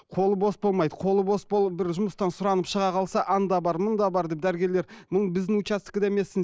қолы бос болмайды қолы бос болып бір жұмыстан сұранып шыға қалса анда бар мұнда бар деп дәрігерлер біздің участкіде емессің